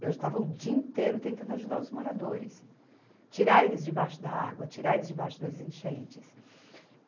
Eu já estava o dia inteiro tentando ajudar os moradores, tirar eles de baixo da água, tirar eles de baixo das enchentes.